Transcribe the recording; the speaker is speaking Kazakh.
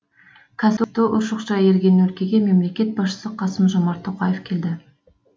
кәсіпті ұршықша иірген өлкеге мемлекет басшысы қасым жомарт тоқаев келді